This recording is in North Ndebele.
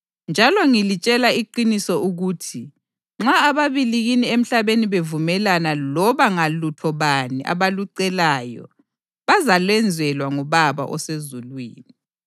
Njalo ngilitshela iqiniso ukuthi nxa ababili kini emhlabeni bevumelana loba ngalutho bani abalucelayo bazalwenzelwa nguBaba osezulwini.